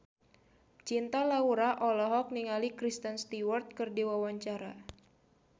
Cinta Laura olohok ningali Kristen Stewart keur diwawancara